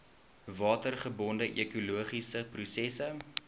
watergebonde ekologiese prosesse